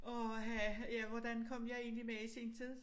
Åh ha ja hvordan kom jeg egentlig med i sin tid